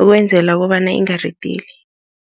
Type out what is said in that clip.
ukwenzela kobana ingaridili.